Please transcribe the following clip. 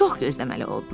Çox gözləməli oldular.